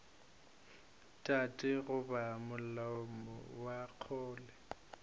tate goba malome wa kgole